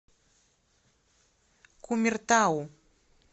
кумертау